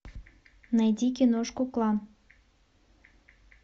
найди киношку клан